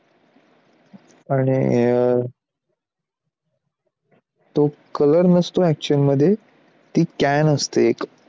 आणि अं तो color नसतो actual मध्ये ती can असते.